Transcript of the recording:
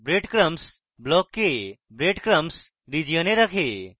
breadcrumbs block কে breadcrumbs region এ রাখুন